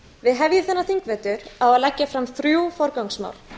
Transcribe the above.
við hefjum þennan þingvetur á að leggja fram þrjú forgangsmál